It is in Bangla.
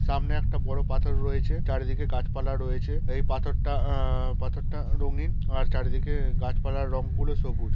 সামনে একটা বড়ো পাথর রয়েছে চারিদিকে গাছপালা রয়েছে এই পাথরটা আ-আ পাথরটা রঙিন আর চারিদিকে গাছপালা রং গুলো সবুজ।